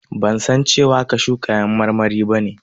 Ban san cewa kashu kayan marmari ba ne.